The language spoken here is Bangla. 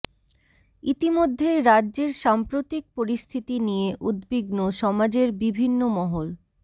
ইতিমধ্যেই রাজ্যের সাম্প্রতিক পরিস্থিতি নিয়ে উদ্বিগ্ন সমাজের বিভিন্ন মহল